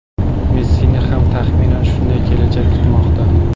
Messini ham, taxminan, shunday kelajak kutmoqda.